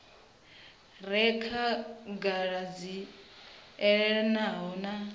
re khagala dzi elanaho na